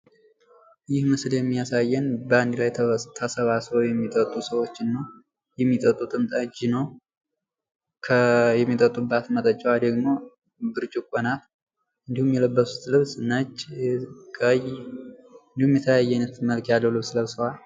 ይህ ምስል የሚያሳየን በአንድ ተሰባስበው የሚጥጡ ሰዎችን ነው። የሚጠጡትም ጠጅ ነው። የሚጠጡባት መጠጫ ደግሞ ብርጭቆ ናት። እንዲሁም የለበሱት ልብስ ነጭ ቀይ እንዲሁም የተለያየ አይነት መልክ ያለው ልብስ ለብሰዋል።